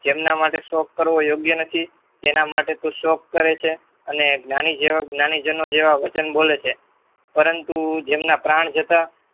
જેમના માટે શોખ કરવો યોગ્ય નથી જેમના માટે તું શોક કરે છે અને જ્ઞાની જીવન જેવા વચનો બોલે છે પરંતુ જેમના પ્રાણ જતા